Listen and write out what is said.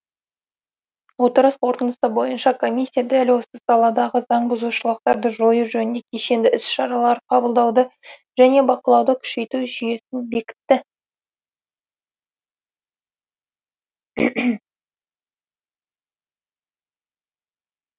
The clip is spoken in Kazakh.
отырыс қорытындысы бойынша комиссия дәл осы саладағы заңбұзушылықтарды жою жөнінде кешенді іс шаралар қабылдауды және бақылауды күшейту жүйесін бекітті